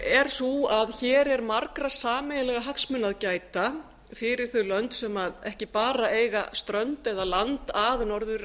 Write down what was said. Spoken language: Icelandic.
er sú að hér er margra sameiginlegra hagsmuna að gæta fyrir þau lönd sem ekki bara eiga strönd eða land að norður